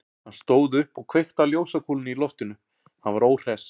Hann stóð upp og kveikti á ljósakúlunni í loftinu, hann var óhress.